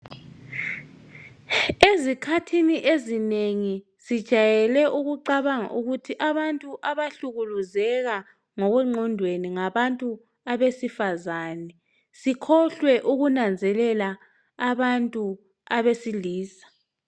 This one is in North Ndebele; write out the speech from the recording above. Ezikhathini ezinengi sijayele ukucabanga ukuthi abantu abahlukuluzeka ngokwengqondweni ngabantu abesifazane sikhohlwe ukunanzelela abantu abesilisa